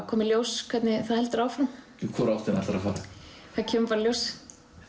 koma í ljós hvernig það heldur áfram í hvora áttina ætlarðu að fara það kemur bara í ljós